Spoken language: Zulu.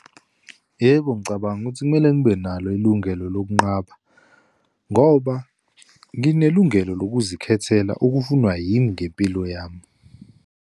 Yebo, ngicabanga ukuthi kumele ngibe nalo ilungelo lokunqaba ngoba nginelungelo lokuzikhethela okufunwa yimi ngempilo yami.